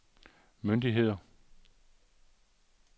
myndigheder